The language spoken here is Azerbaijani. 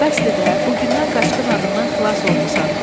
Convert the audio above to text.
Bəsdir də, bu gündən Qaçqın adından xilas olmusan.